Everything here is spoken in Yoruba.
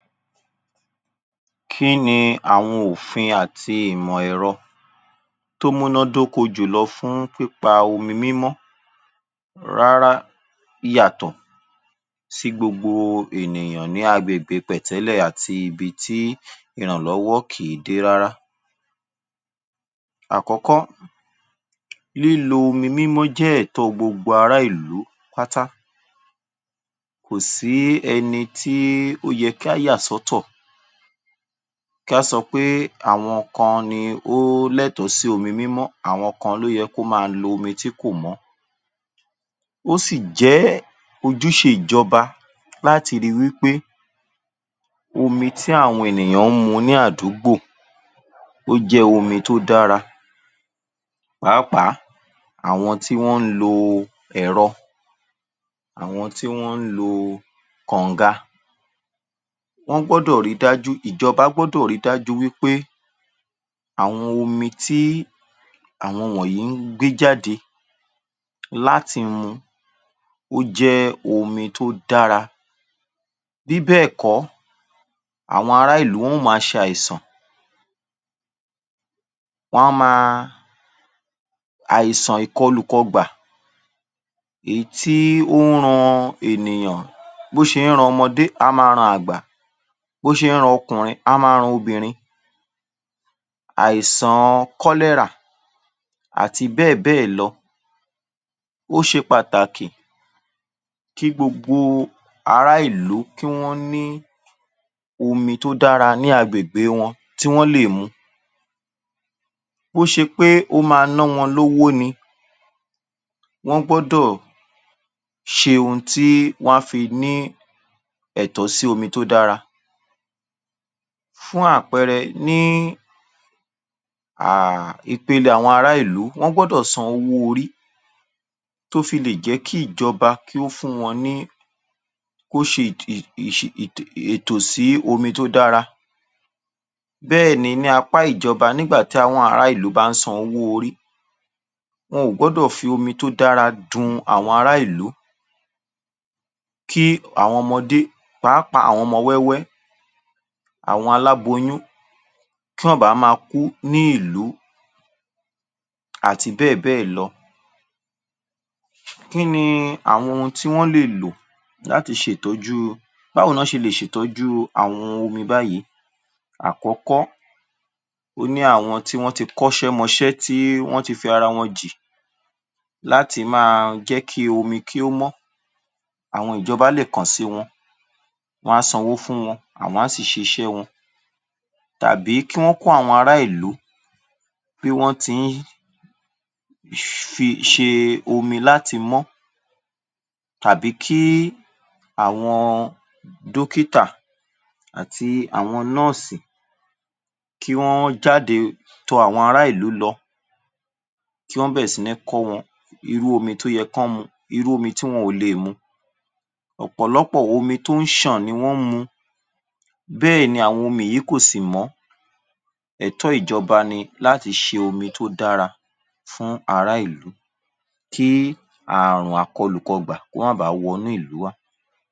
Kíni àwọn òfin àti ìmọ̀ ẹ̀rọ tó múná dóko jùlọ fún pípa omi mímọ́, rárá ìyàtọ̀ sí gbogbo ènìyàn ní agbègbè pẹ̀tẹ́lẹ̀ àti ibití ìrànlọ́wọ́ kì yí dé rárá. Àkọ́kọ́, lílo omi mímọ́ jẹ́ ẹ̀tọ́ọ gbogbo ará ìlú pátá, kòsí ẹnití ó yẹ̀ ká yà sọ́tọ̀, kí á sọ̀ pé àwọn kan ni ó ní ẹ̀tọ́ sí omi mímọ́, àwọn kan ló yẹ kí wọ́n ma lo omi tí ò mọ́, ó sì jẹ́ ojúṣe ìjọba láti ríi wípé omi tí àwọn ènìyàn ń mu ní àdúgbò, ó jẹ́ omi tí ó dára pàápàá jùlọ àwọn tí wọ́n lo ẹ̀rọ, àwọn tí wọ́n lo kọ̀nga, wọ́n gbọ́dọ̀ ri dájú pé, ìjọba gbọ́dọ̀ rí dájú wípé àwọn omi tí àwọn wọ̀nyí ń gbé jáde láti mu, ó jẹ́ omi tó dára, bí bẹ̀ẹ̀kọ́, àwọn ará ìlú, wọ́n ma ṣ'àìsàn, wọ́n á ma, àìsàn ìkọlùkọgbà, èyí tí ó ń ran ènìyàn, bí ó ṣe ń ran ọmọdé, á ma ran àgbà, bí ó ṣe ń ran ọkùnrin, á ma ran obìnrin, àìsàn cholera àti bẹ́ẹ̀bẹ́ẹ̀ lọ. Ó ṣe pàtàkì kí gbogbo ará ìlú, kí wọ́n ní omi tí ó dára ní agbègbè wọn, tí wọ́n lè mu, bó ṣe pé ó ma ná wọn lówó ni, wọ́n gbọ́dọ̀ ṣe oun tí wọ́n á fi ní ẹ̀tọ́ sí omi tí ó dára. Fún àpẹrẹ ní um, ipele ará ìlú, wọ́n gbọ́dọ̀ san owó orí, tó fi lè jẹ́ kí ìjọba, kó fún wọn ní bó ṣe um ètò sí omi tó dára. Bẹ́ẹ̀ ni, ní apá ìjọba, nígbà tí àwọn ará ìlú bá ń sanwó orí, wọn ò gbọ́dọ̀ fi omi tó dára dun àwọn ará ìlú, kí àwọn ọmọdé, pàápàá àwọn ọmọ wẹ́wẹ́, àwọn aláboyún, kí wọ́n ma baà kú ní ìlú àti bẹ́ẹ̀bẹ́ẹ̀ lọ. Kíni àwọn oun tí wọ́n lè lò láti ṣe ìtọ́júu, báwo ní wọ́n ṣe lè ṣe ìtọ́júu àwọn omi báyìí? Àkọ́kọ́, ó ní àwọn tí ó ti kọ́’sẹ́ mọ’sẹ́, tí wọ́n ti fi ara wọn jì láti máa jẹ́ kí omi, kí ó mọ́, àwọn ìjọba léè kàn sí wọn, wọ́n á sanwó fún wọn, àwọn ó sì ṣíṣẹ wọn tàbí kí wọ́n kọ́ àwọn ará ìlú, bí wọ́n ti ń ṣe omi láti mọ́ tàbí kí àwọn dókítà àti àwọn nọ́rsì, kí wọ́n jáde tọ àwọn ará ìlú lọ, kí wọ́n bẹ̀rẹ̀ síní kọ́ wọ́n irú omi tó yẹ kí wọ́n mu, irúu omi tí wọn ò lè mu, ọ̀pọ̀lọpọ̀ omi tó ń ṣàn ni wọ́n mu, bẹ́ẹ̀ ni àwọn omi yìí kò sì mọ́, ẹ̀tọ́ ìjọba ni láti ṣe omi tó dára fún ará ìlú, kí àrùn àkọlùkọgbà, kó má baà wọnú ìlú wá.